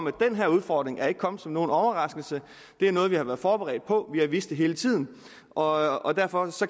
at den her udfordring ikke er kommet som nogen overraskelse det er noget vi har været forberedt på vi har vidst det hele tiden og og derfor